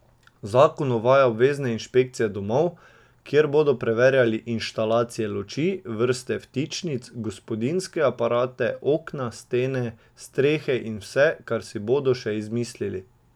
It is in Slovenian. Zakon uvaja obvezne inšpekcije domov, kjer bodo preverjali inštalacije luči, vrste vtičnic, gospodinjske aparate, okna, stene, strehe in vse, kar si bodo še izmislili.